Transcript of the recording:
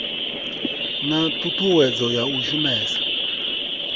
na ṱhuṱhuwedzo ya u shumesa